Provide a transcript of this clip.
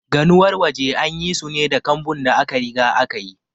Ganuwar waje an yi su ne da kambun da aka riga aka yi.